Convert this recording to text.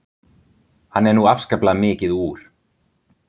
Hann er nú afskaplega mikið úr